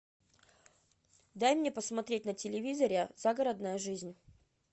дай мне посмотреть на телевизоре загородная жизнь